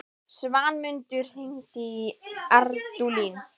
Svanmundur, hringdu í Ardúlín.